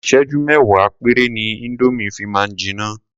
Ìsẹ́jú mẹ́wàá péré ni indomie fi máa ń jiná.